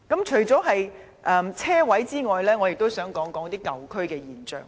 除了車位之外，我亦想說說舊區的現象。